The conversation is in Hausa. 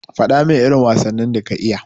Fadamin irin wasannin da ka iya.